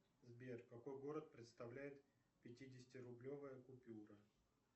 сбер какой город представляет пятидесятирублевая купюра